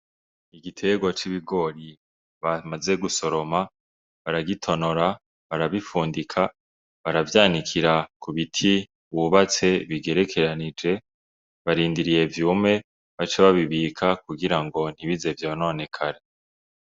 Igitegwa c'ibigori bamaze gusoroma, baragitonora, barabifundika, baravyanikira ku biti bubatse bigerekeranije, barindiriye vyume bace babibika kugira ngo ntibize vyononekare.